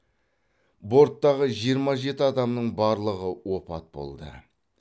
борттағы жиырма жеті адамның барлығы опат болды